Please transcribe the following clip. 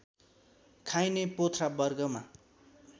खाइने पोथ्रा वर्गमा